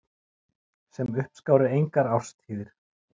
Sem uppskáru engar árstíðir.